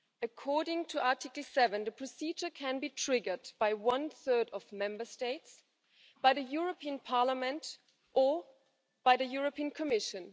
According to Article 7, the procedure can be triggered by one third of Member States, by the European Parliament, or by the European Commission.